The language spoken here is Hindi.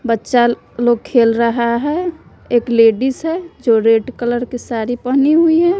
बच्चा लोग खेल रहा है एक लेडिस है जो रेड कलर की साड़ी पहनी हुई है।